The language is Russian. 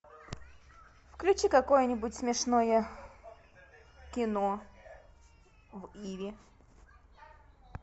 включи какое нибудь смешное кино в иви